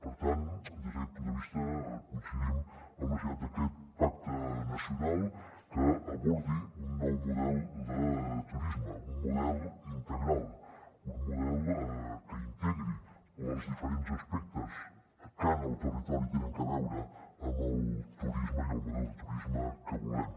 per tant des d’aquest punt de vista coincidim en la necessitat d’aquest pacte nacional que abordi un nou model de turisme un model integral un model que integri els diferents aspectes que en el territori tenen a veure amb el turisme i el model de turisme que volem